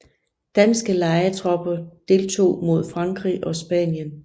Danske lejetropper deltog mod Frankrig og Spanien